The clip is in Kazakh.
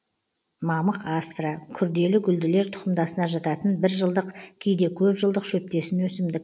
мамық астра күрделі гүлділер тұқымдасына жататын бір жылдық кейде көп жылдық шөптесін өсімдік